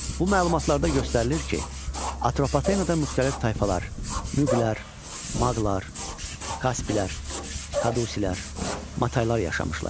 Bu məlumatlarda göstərilir ki, Atropatenada müxtəlif tayfalar, Muğlar, Maqlar, Kasplər, Kadusilər, Mataylar yaşamışlar.